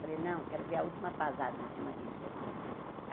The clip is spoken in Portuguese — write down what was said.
Falei, não, quero ver a última pasada em cima disso aqui.